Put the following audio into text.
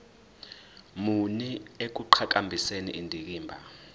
muni ekuqhakambiseni indikimba